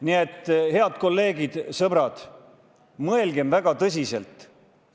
Nii et, head kolleegid, sõbrad, mõelgem väga tõsiselt!